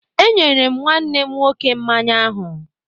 E nyere m nwanne m nwọke mmanya ahụ